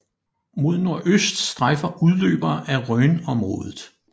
Mod nordøst strejfer udløbere af Rhön området